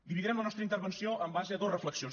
dividirem la nostra intervenció en base a dos reflexions